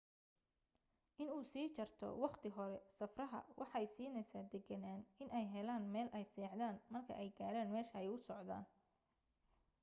in uu sii jarto waqti hore safraha waxay siineysa deganaan iney helaan meel ay seexdan marka ay gaaran meesha ay u socdaan